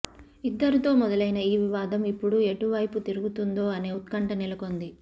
ఇద్దరు తో మొదలైన ఈ వివాదం ఇప్పుడు ఎటువైపు తిరుగుతుందో అనే ఉత్కంఠ నెలకొంది